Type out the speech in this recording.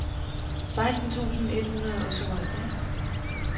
seksten tusind et hundrede og syvoghalvfjerds